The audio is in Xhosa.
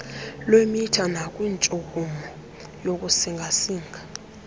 lwemitha nakwintshukumo yokusingasinga